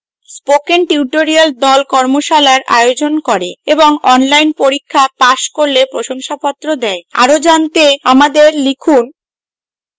spoken tutorial the কর্মশালার আয়োজন করে এবং online পরীক্ষা পাস করলে প্রশংসাপত্র দেয় আরো জানতে আমাদের লিখুন